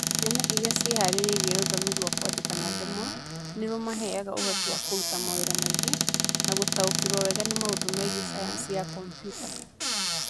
Ciana iria ciĩhaarĩirie rũthiomi rwa kwandĩka na ndemwa nĩ rũmaheaga ũhoti wa kũruta mawĩra maingĩ na gũtaũkĩrũo wega nĩ maũndũ megiĩsayansi ya kompiuta.